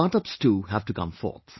Startups too have to come forth